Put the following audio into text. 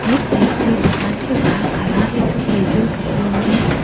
एक व्यक्ति दुकान के बाहर खड़ा है जो कैजुअल कपड़ों में है।